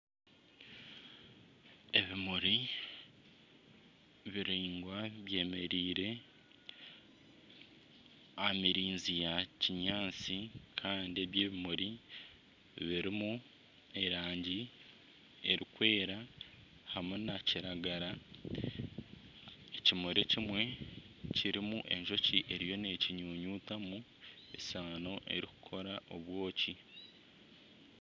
Ebimuri biringwa byemereire aha mirinzi ya kinyaatsi kandi by'ebimuri birimu erangi erikwera hamwe nakiragara. Ekimuri ekimwe kirimu enjoki eriyo nekinyunyutamu esaano erikukora obwoki